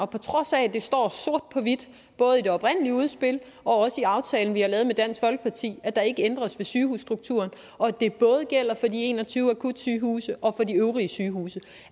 på trods af at det står sort på hvidt både i det oprindelige udspil og i aftalen vi har lavet med dansk folkeparti at der ikke ændres ved sygehusstrukturen og at det både gælder for de en og tyve akutsygehuse og for de øvrige sygehuse